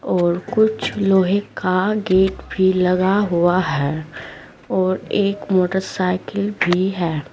और कुछ लोहे का गेट भी लगा हुआ है और एक मोटरसाइकिल भी है।